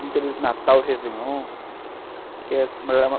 Muitas vezes, Natal e Réveillon